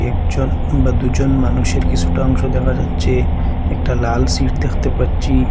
একজন বা দুজন মানুষের কিছুটা অংশ দেখা যাচ্ছে একটা লাল সিট দেখতে পাচ্ছি।